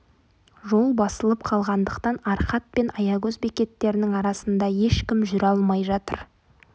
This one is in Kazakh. жол басылып қалғандықтан арқат пен аягөз бекеттерінің арасында ешкім жүре алмай жатыр